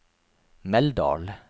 Meldal